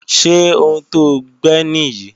Ṣé ohun to gbẹ́ nì yí?